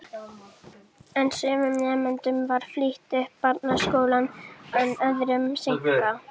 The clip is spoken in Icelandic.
En sumum nemendum var flýtt upp barnaskólann en öðrum seinkað.